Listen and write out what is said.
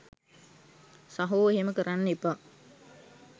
සහෝ එහෙම කරන්න එපා